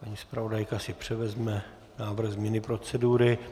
Paní zpravodajka si převezme návrh změny procedury.